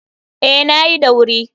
Ee, na yi da wuri.